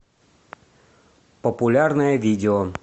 популярное видео